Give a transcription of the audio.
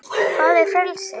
hvað er frelsi